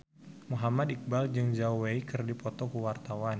Muhammad Iqbal jeung Zhao Wei keur dipoto ku wartawan